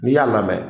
N'i y'a lamɛn